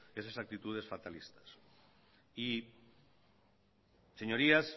esas aptitudes fatalistas y señorías